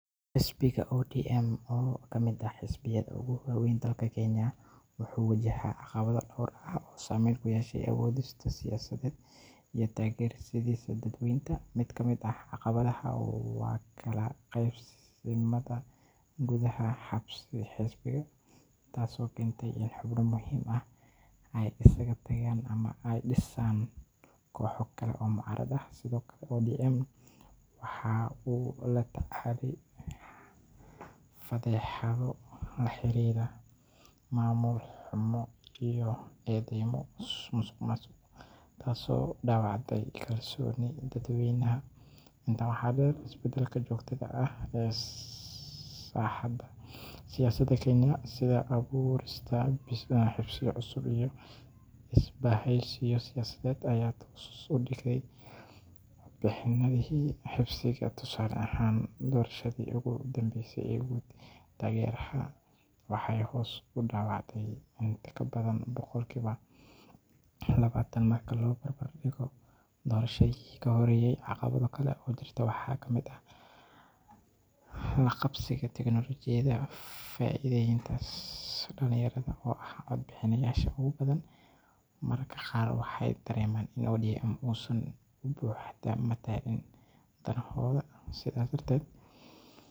wuxuu si weyn ugu noolaa cadaadisyo siyaasadeed oo badan sanado badan, iyadoo ay sabab u tahay doorka muhiimka ah ee uu ka ciyaaray siyaasadda Kenya. Xisbiga ayaa wajahday caburin joogto ah oo ka timid dowladda xilka haysata iyo kooxo kale oo siyaasadeed oo isku dayay inay curyaamiyaan hawshiisa. Waxaa jiray hanjabaado, xarigyo aan sharciyeysneyn, iyo xayiraado kala duwan oo la saaray xubnaha xisbiga iyo taageerayaashiisa. Inkastoo cadaadisyadaasi jireen, waxay sii waday inay ka shaqeyso sidii ay u ilaalin lahayd xuquuqda shacabka, u hormarin lahayd dimuqraadiyadda, iyo inay matasho codka dadka aan codkooda la maqal.